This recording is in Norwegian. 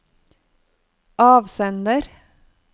avsender